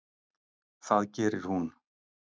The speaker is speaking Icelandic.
Það gerir hún.